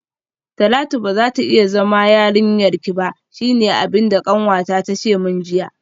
Talatu bazata iya zama yarinyarki ba shine abinda kanwata tace min jiya